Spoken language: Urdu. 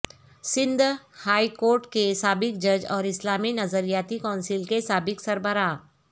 سندھ ہائی کورٹ کے سابق جج اور اسلامی نظریاتی کونسل کے سابق سربراہ